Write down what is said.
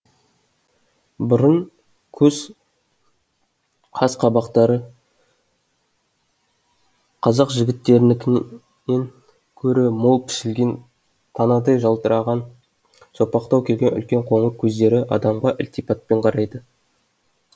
мұрын көз қас қабақтары қазақ жігіттерінікінен көрі мол пішілген танадай жалтыраған сопақтау келген үлкен қоңыр көздері адамға ілтипатпен қарайды